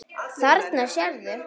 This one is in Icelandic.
Þarna sérðu.